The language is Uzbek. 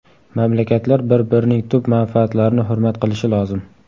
Mamlakatlar bir-birining tub manfaatlarini hurmat qilishi lozim.